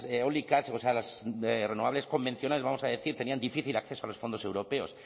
eólicas o sea las renovables convencionales vamos a decir tenían difícil acceso a los fondos europeos